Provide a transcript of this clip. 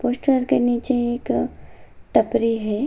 Poster के नीचे एक टपरी है।